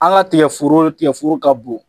A la tigɛ foro , tigɛforo ka bon!